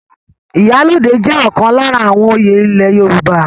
Ìyálóde jẹ́ ọ̀kan lára àwọn oyè ile Yorùbá.